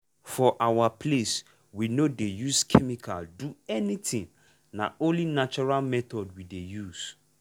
for our place we no dey use chemical do anything na only natural method we dey use.